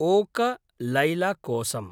okay लैल कोसम्